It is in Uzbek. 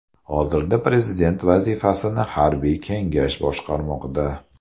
Hozirda prezident vazifasini harbiy kengash boshqarmoqda.